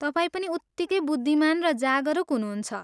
तपाईँ पनि उत्तिकै बुद्धिमान र जागरुक हुनुहुन्छ।